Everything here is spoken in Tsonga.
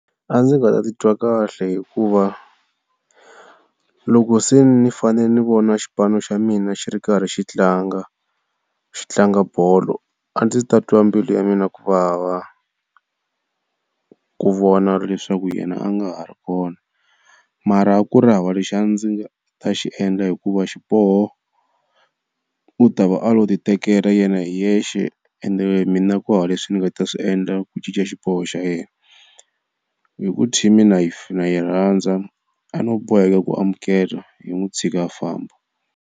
A ndzi nga ta titwa kahle hikuva loko se ni fanele ni vona xipano xa mina xi ri karhi xi tlanga xi tlanga bolo, a ndzi ta twa mbilu ya mina ku vava ku vona leswaku yena a nga ha ri kona. Mara a ku ri hava lexi a ndzi ta xi endla hikuva xiboho u ta va a lo ti tekela yena hi yena, ende mina kuhava leswi ni nga ta swi endla ku cinca xiboho xa yena. Hi ku team na yi yirhandza a no boheka ku amukela hi n'wi tshika a famba.